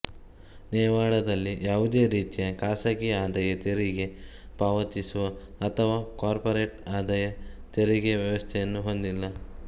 ನೆವಾಡಾದಲ್ಲಿ ಯಾವುದೇ ರೀತಿಯ ಖಾಸಗಿ ಆದಾಯ ತೆರಿಗೆ ಪಾವತಿಸುವ ಅಥವಾ ಕಾರ್ಪೋರೆಟ್ ಆದಾಯ ತೆರಿಗೆಯ ವ್ಯವಸ್ಥೆಯನ್ನು ಹೊಂದಿಲ್ಲ